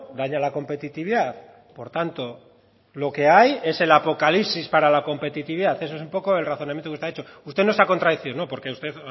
daña a la competitividad por tanto lo que hay es el apocalipsis para la competitividad eso es un poco el razonamiento que usted ha hecho usted no se ha contradicho no porque usted